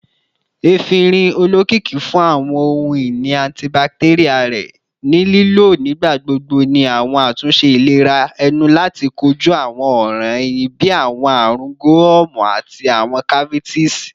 Efinrin, olokiki fun awọn ohun-ini antibacterial rẹ, ni lilo nigbagbogbo ni awọn atunṣe ilera ẹnu lati koju awọn ọran ehín bii awọn arun gomu ati awọn cavities